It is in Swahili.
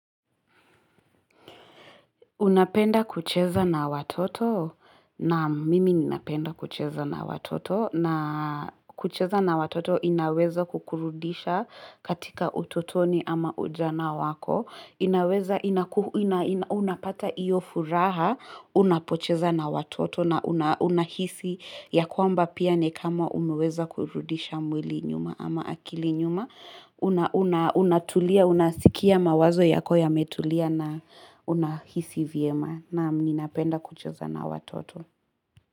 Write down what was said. Unapenda kucheza na watoto, naam mimi ninapenda kucheza na watoto, na kucheza na watoto inaweza kukurudisha katika utotoni ama ujana wako, inaweza ina unapata hiyo furaha unapocheza na watoto na unahisi ya kwamba pia nikama umeweza kurudisha mwili nyuma ama akili nyuma. Unatulia, unasikia mawazo yako ya metulia na unahisi vyema Naam ninapenda kucheza na watoto.